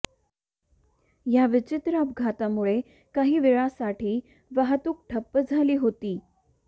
या विचित्र अपघातामुळे काही वेळासाछी वाहतूक ठप्प झाली होती